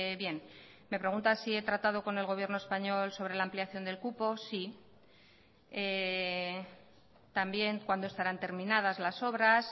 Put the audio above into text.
bien me pregunta si he tratado con el gobierno español sobre la ampliación del cupo sí también cuándo estarán terminadas las obras